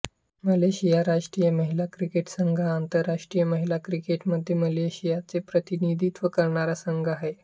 Malaysia राष्ट्रीय महिला cricket संघ हा आंतरराष्ट्रीय महिला क्रिकेटमध्ये मलेशियाचे प्रतिनिधित्व करणारा संघ आहे